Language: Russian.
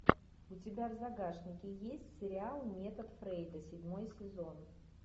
у тебя в загашнике есть сериал метод фрейда седьмой сезон